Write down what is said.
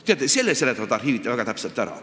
Teate, selle seletavad arhiivid väga täpselt ära.